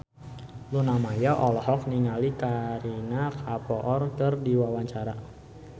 Luna Maya olohok ningali Kareena Kapoor keur diwawancara